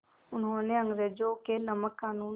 उन्होंने अंग्रेज़ों के नमक क़ानून